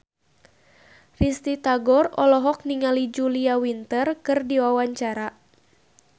Risty Tagor olohok ningali Julia Winter keur diwawancara